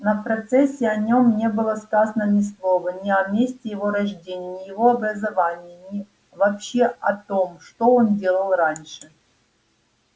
на процессе о нём не было сказано ни слова ни о месте его рождения ни о его образовании ни вообще о том что он делал раньше